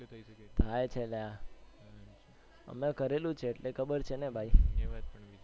થાય છે લ્યા, મેં કરેલું છે એટલે ખબર છેને ભાઈ.